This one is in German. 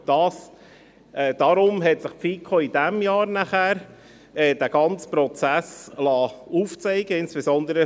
Deshalb hat sich die FiKo dieses Jahr den ganzen Prozess aufzeigen lassen.